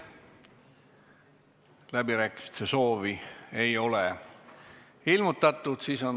Läbirääkimiste soovi ei ole ilmutatud.